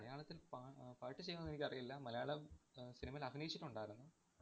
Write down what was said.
മലയാളത്തില്‍ പാ~ അഹ് പാട്ട് ചെയ്തോ എന്നെനിക്കറിയില്ല. മലയാള അഹ് cinema യില്‍ അഭിനയിച്ചിട്ടുണ്ടാരുന്നു.